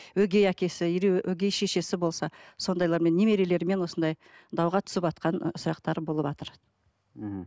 өгей әкесі или өгей шешесі болса сондайлармен немерелермен осындай дауға түсіватқан сұрақтар болыватыр мхм